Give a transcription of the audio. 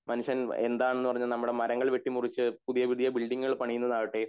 മനുഷ്യൻ എന്താണെന്ന് പറഞ്ഞു നമ്മടെ മരങ്ങൾ വെട്ടി മുറിച്ചു പുതിയ പുതിയ ബിൽഡിങ്ങുകൾ പണിയുന്നതാവട്ടെ